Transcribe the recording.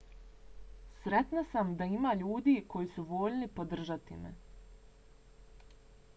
sretna sam da ima ljudi koji su voljni podržati me